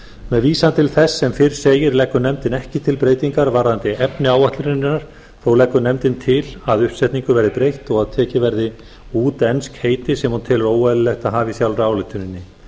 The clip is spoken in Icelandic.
með vísan til þess sem fyrr segir leggur nefndin ekki til breytingar varðandi efni áætlunarinnar þó leggur nefndin til að uppsetningu verði breytt og að tekin verði út ensk heiti sem hún telur óeðlilegt að hafa í sjálfri ályktuninni